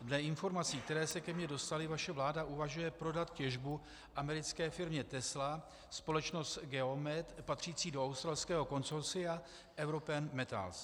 Dle informací, které se ke mně dostaly, vaše vláda uvažuje prodat těžbu americké firmě Tesla, společnost Geomet patřící do australského konsorcia European Metals.